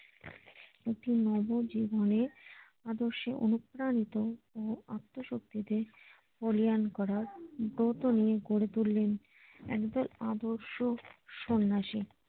একটি জীবনে আদর্শে অনুপ্রাণিত ও আত্মশক্তিতে বলিয়ান করার ব্রত নিয়ে গড়ে তুললেন একদল আদার্স সন্ন্যাসী